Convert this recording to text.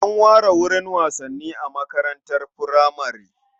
An ware wurin wasanni a makarantar furamare.